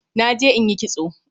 Naje in yi kitso